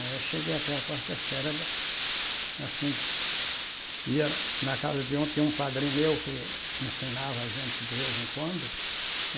Aí eu cheguei até a quarta série, assim, ia na casa de um tinha um padrinho meu que ensinava a gente de vez em quando.